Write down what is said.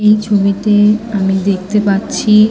এই ছবিতে আমি দেখতে পাচ্ছি ।